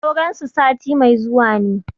Auren su sati mai zuwa ne.